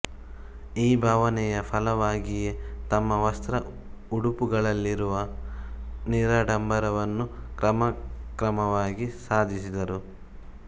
ಈ ಭಾವನೆಯ ಫಲವಾಗಿಯೇ ತಮ್ಮ ವಸ್ತ್ರ ಉಡುಪುಗಳಲ್ಲಿವರು ನಿರಾಡಂಬರವನ್ನು ಕ್ರಮಕ್ರಮವಾಗಿ ಸಾಧಿಸಿದರು